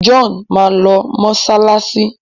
John má lọ masalasi.